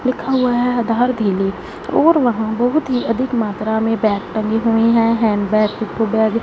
लिखा हुआ हैं आधार ढीली और वहां बहुत ही अधिक मात्रा में बैग टंगे हुए हैं हैंड बैग पिट्ठू बैग --